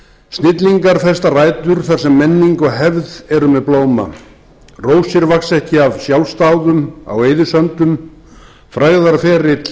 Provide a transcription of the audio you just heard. snillingar festa rætur þar sem menning og hefð eru með blóma rósir vaxa ekki af sjálfsdáðum á eyðisöndum frægðarferill